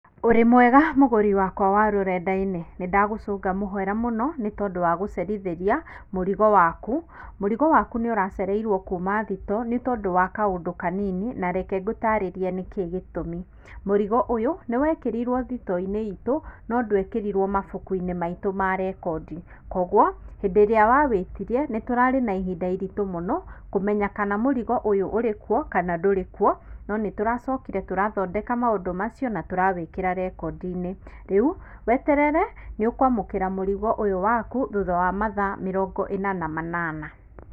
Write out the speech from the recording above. Ũrĩ mwega mũgũrĩ wakwa wa rũrendainĩ, nĩ ndagũcũnga mũhera mũno nĩ tondũ wa gũcerithĩria mũrigo waku, mũrigo wakũ nĩ ũracereirwo kuma thitoo nĩ tondũ wa kaũndũ kanini na reke ngũtarĩrĩe nĩ kiĩ gĩtũmi. Mũrigo ũyũ nĩ wekĩrirwo thitooinĩ ĩtũ no ndwekĩrirwĩ mabũkũinĩ maitũ ma rekondi kwoguo hindĩ irĩa wa wĩtirie nĩ tũrarĩ na ihinda iritũ mũno kũmenya kana mũrigo ũyũ ũrĩ kuo kana ndũrĩkuo no nĩ tũracokĩre tũrathondeka maũndũ macio na tũrawikĩra rekondĩinĩ rĩũ wetere nĩ ũkwamũkĩra mũrigo ũyũ wakũ thũtha wa mathaa mĩrongo ĩna na manana.